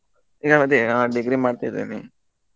ಏ ಅದೇ ಅವ್ನ degree ಮಾಡ್ತಾ ಇದಾನೆ.